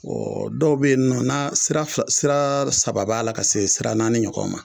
Ɔɔ dɔw be ye nɔ na sira fila sira saba b'a la ka se sira naani ɲɔgɔn ma